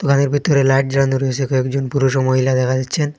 দোকনের ভিতরে লাইট জ্বালানো রয়েসে কয়েকজন পুরুষ ও মহিলা দেখা যাচ্ছেন।